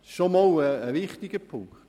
Das ist ein wichtiger Punkt.